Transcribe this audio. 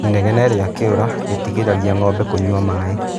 Inegene rĩa kĩũra rĩtirigagĩrĩria ngombe kũnyua maĩ.